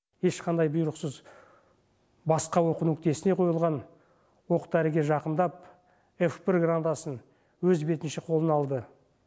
ешқандай бұйрықсыз басқа оқу нүктесіне қойылған оқ дәріге жақындап ф бір гранатасын өз бетінше қолына алды